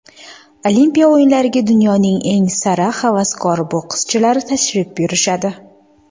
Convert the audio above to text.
Olimpiya o‘yinlariga dunyoning eng sara havaskor bokschilari tashrif buyurishadi.